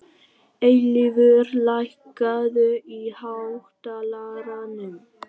Eilífur, lækkaðu í hátalaranum.